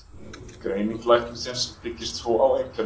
Greining læknisins byggist svo á einkennum.